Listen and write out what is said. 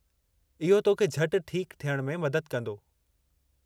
इहो तोखे झटि ठीकु थीयण में मदद कंदो।